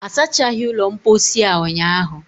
a sachaghi ulo mposi a unyahụ